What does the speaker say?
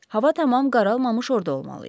Hava tamam qaralmamış orda olmalıyıq.